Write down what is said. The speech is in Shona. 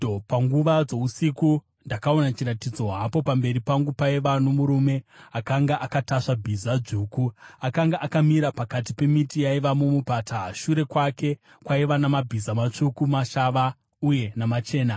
Panguva dzousiku ndakaona chiratidzo, hapo pamberi pangu paiva nomurume akanga akatasva bhiza dzvuku! Akanga akamira pakati pemiti yaiva mumupata. Shure kwake kwaiva namabhiza matsvuku, mashava uye namachena.